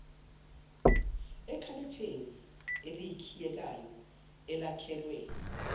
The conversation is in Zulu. ekhabetheni elikhiyekayo elakhelwe